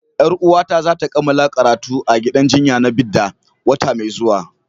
Yar uwata za ta kammala karatu a gidan jinya na Bida wata mai zuwa.